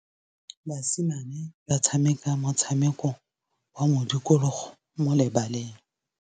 Basimane ba tshameka motshameko wa modikologô mo lebaleng.